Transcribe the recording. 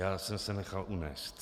Já jsem se nechal unést.